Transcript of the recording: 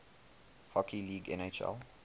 hockey league nhl